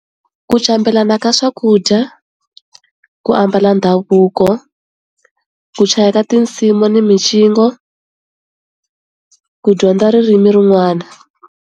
Ku cambelana ka swakudya, ku ambala ndhavuko, ku chayela tinsimu ni micino, ku dyondza ririmi rin'wana.